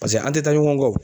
Paseke an tɛ taa ɲɔgɔn kɔ o.